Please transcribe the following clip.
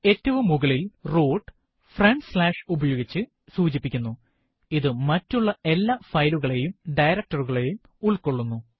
ഏറ്റവും മുകളിൽ root front slash ഉപയോഗിച്ച് സൂചിപ്പിക്കുന്നു ഇത് മറ്റുള്ള എല്ലാ ഫയലുകളെയും director കളെയും ഉള്ക്കൊള്ളുന്നു